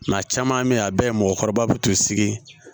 a caman bɛ yen a bɛɛ ye mɔgɔkɔrɔba bɛ t'u sigi